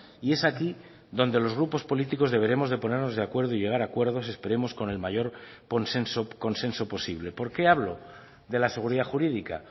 y es aquí donde los grupos políticos deberemos de ponernos de acuerdo y llegar a acuerdos esperemos con el mayor consenso posible por qué hablo de la seguridad jurídica